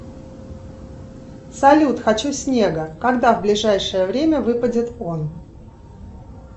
салют хочу снега когда в ближайшее время выпадет он